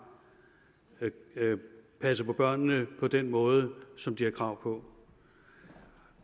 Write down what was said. passet på børnene på den måde som de har krav på